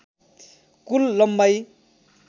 कुल लम्बाइ